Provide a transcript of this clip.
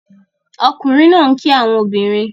Ọkunrin naa n ki awọn obinrin